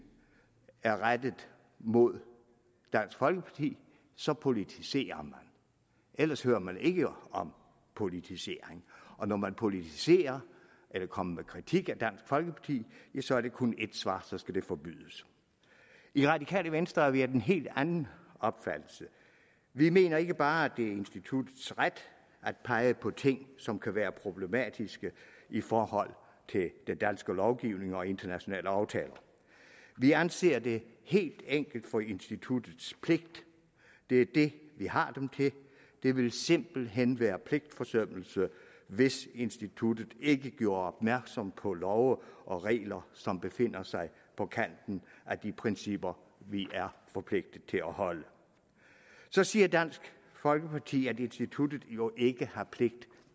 er rettet mod dansk folkeparti så politiserer man ellers hører man ikke om politisering og når man politiserer kommer med kritik af dansk folkeparti ja så er der kun ét svar så skal det forbydes i radikale venstre er vi af en helt anden opfattelse vi mener ikke bare at det er instituttets ret at pege på ting som kan være problematiske i forhold til den danske lovgivning og internationale aftaler vi anser det helt enkelt for instituttets pligt det er det vi har dem til det ville simpelt hen være pligtforsømmelse hvis instituttet ikke gjorde opmærksom på love og regler som befinder sig på kanten af de principper vi er forpligtet til at overholde så siger dansk folkeparti at instituttet jo ikke har pligt